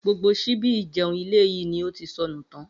Gbogbo s̩íbí ìje̩un ilé yìí ni ó ti so̩nù tán